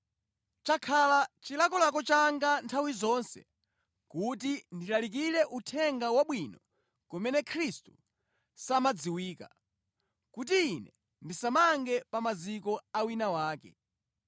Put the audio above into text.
Chakhala chilakolako changa nthawi zonse kuti ndilalikire Uthenga Wabwino kumene Khristu sadziwika, kuti ine ndisamange pa maziko a wina wake.